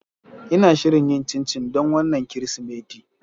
Ina shirin yin cincin don wannan Kirsimeti.